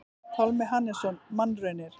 Pálmi Hannesson: Mannraunir.